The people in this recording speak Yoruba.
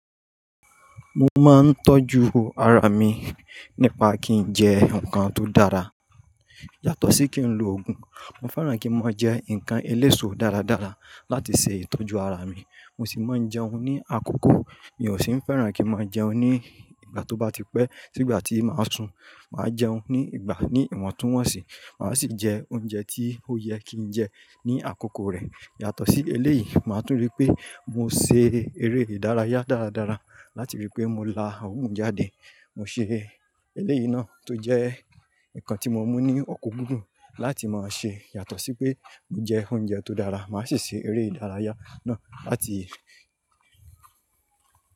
Mo máa ń tọ́jú ara mi nípa kí n jẹ nǹkan tó dára yàtọ̀ sí kí n lo òògùn. Mo fẹ́ràn kí n mo jẹ nǹkan eléso dáradára láti ṣe ìtọ́jú ara mi. Mo sì máa ń jẹun ní àkókò, mi ò sì n fẹ́ràn kí n mo jẹun ní ìgbà tó bá ti pẹ́. Sígbà tí màá sùn, màá jẹun ní ìgbà, ní ìwọ̀ntúnwọ̀nsí. Màá sì jẹ oúnjẹ tí ó yẹ kí n jẹ ní àkókò rẹ̀. Yàtọ̀ sí eléyìí, màá tú rí pé mo ṣe eré ìdárayá dáradára láti rí i pé mo la aagùn jáde. Mo ṣe eléyìí náà tó jẹ́ nǹkan tí mo mú ní ọ̀kunkùndùn láti máa ṣe é yàtọ̀ sí pé mo jẹ oúnjẹ tó dára. Màá sì ṣe eré ìdárayá náà láti.